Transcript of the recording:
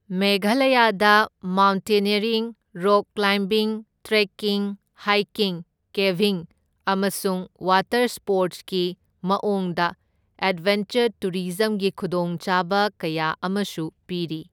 ꯃꯦꯘꯥꯂꯌꯥꯗ mountaineering, rock climbing, trekking, hiking, caving ꯑꯃꯁꯨꯡ water ꯁ꯭ꯄꯣꯔꯠꯁꯀꯤ ꯃꯑꯣꯡꯗ ꯑꯦꯗꯚꯦꯟꯆꯔ ꯇꯨꯔꯤꯖꯝꯒꯤ ꯈꯨꯗꯣꯡꯆꯥꯕ ꯀꯌꯥ ꯑꯃꯁꯨ ꯄꯤꯔꯤ꯫